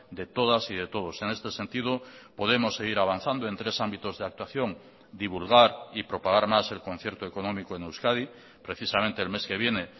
de todas y de todos en este sentido podemos seguir avanzando en tres ámbitos de actuación divulgar y propagar más el concierto económico en euskadi precisamente el mes que viene